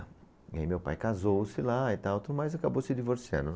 E aí meu pai casou-se lá e tal, tudo, mas acabou se divorciando.